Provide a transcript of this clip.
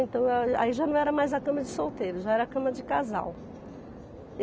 Então aí já não era mais a cama de solteiro, já era a cama de casal.